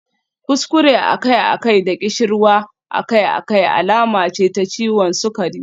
Kuskure akai-akai da ƙishirwa akai-akai alama ce ta ciwon sukari.